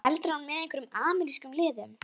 Heldur hann með einhverjum amerískum liðum?